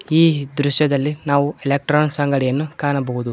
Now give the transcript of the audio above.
ಈ ದೃಶ್ಯದಲ್ಲಿ ನಾವು ಎಲೆಕ್ಟ್ರಾನಿಕ್ಸ್ ಅಂಗಡಿಯನ್ನು ಕಾಣಬಹುದು.